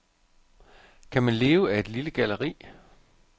Kan man leve af et lille galleri?